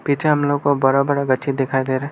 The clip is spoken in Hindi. पीछे हमलोग को बड़ा बड़ा गछी दिखाई दे रहे है।